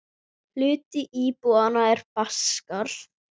Hluti íbúanna er Baskar.